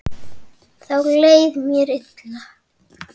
Þá leið mér illa.